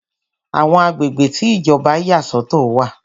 Àwọn agbègbè tí Ìjọba yà sọ̀tọ̀ wà.